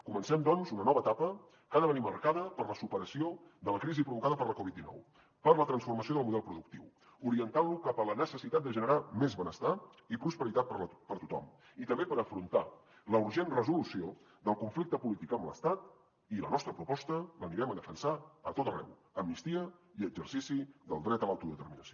comencem doncs una nova etapa que ha de venir marcada per la superació de la crisi provocada per la covid dinou per la transformació del model productiu orientant lo cap a la necessitat de generar més benestar i prosperitat per a tothom i també per afrontar la urgent resolució del conflicte polític amb l’estat i la nostra proposta l’anirem a defensar a tot arreu amnistia i exercici del dret a l’autodeterminació